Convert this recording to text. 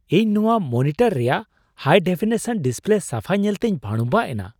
ᱤᱧ ᱱᱚᱶᱟ ᱢᱚᱱᱤᱴᱚᱨ ᱨᱮᱭᱟᱜ ᱦᱟᱭᱼᱰᱮᱯᱷᱤᱱᱤᱥᱚᱱ ᱰᱤᱥᱯᱞᱮ ᱥᱟᱯᱷᱟ ᱧᱮᱞᱛᱮᱧ ᱵᱷᱟᱹᱲᱩᱢᱵᱷᱟᱜ ᱮᱱᱟ ᱾